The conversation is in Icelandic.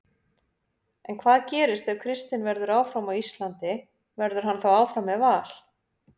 En hvað gerist ef Kristinn verður áfram á Íslandi, verður hann þá áfram með Val?